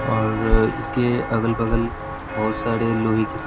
और इसके अगल-बगल बहुत सारे लोहे की --